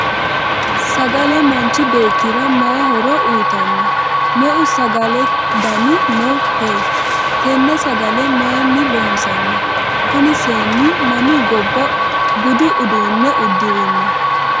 sagale manchi beettira mayii horo uyiitanno? meu sagale dani no koye? tenne sagale mayiinni loonsanni? kuni seenni mami gobba budu uduunne uddirino?